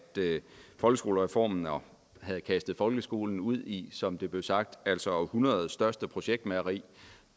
folkeskolereformen havde kastet folkeskolen ud i som det blev sagt århundredets største projektmageri